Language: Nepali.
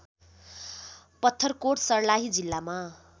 पत्थरकोट सर्लाही जिल्लामा